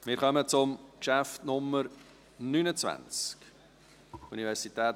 Wir kommen zum Traktandum Nummer 29: